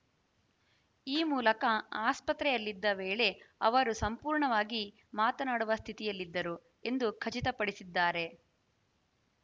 ಈ ಮೂಲಕ ಆಸ್ಪತ್ರೆಯಲ್ಲಿದ್ದ ವೇಳೆ ಅವರು ಸಂಪೂರ್ಣವಾಗಿ ಮಾತನಾಡುವ ಸ್ಥಿತಿಯಲ್ಲಿದ್ದರು ಎಂದು ಖಚಿತಪಡಿಸಿದ್ದಾರೆ